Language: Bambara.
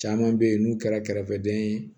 Caman bɛ yen n'u kɛra kɛrɛfɛdɛn ye